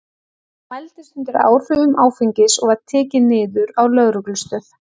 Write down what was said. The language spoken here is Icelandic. Hann mældist undir áhrifum áfengis og var tekinn niður á lögreglustöð.